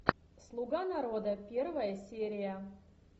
слуга народа первая серия